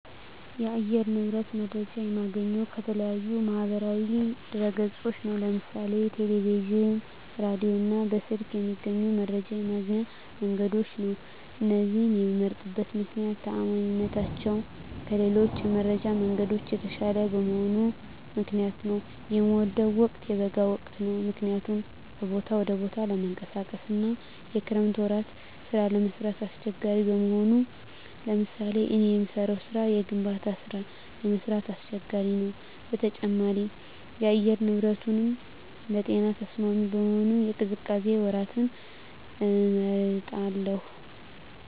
የአየር ንብረት መረጃዎች የማገኘው ከተለያዩ የማህበራዊ ድህረገጾች ነው ለምሳሌ ቴለቪዥን ራዲዮ እና በስልክ ከሚገኙ የመረጃ ማግኛ መንገዶች ነው እነዚህን የመምመርጥበት ምክነያት ተአማኒነታቸው ከሌሎች የመረጃ መንገዶች የተሻለ በመሆኑ ምክንያት ነው። የምወደው ወቅት የበጋውን ወቅት ነው ምክንያቱም ከቦታ ወደ ቦታ ለመንቀሳቀስ አና የክረምት ወራት ስራ ለመስራት አሳቸጋሪ በመሆኑ ለምሳሌ እኔ የምሰራው ስራ የግንባታ ስራ ለመስራት አስቸጋሪ ነው በተጨማሪም የአየር ንብረቱንም ለጤና ተስማሚ በመሆኑ የቅዝቃዜ ወራትን እመርጣለሁ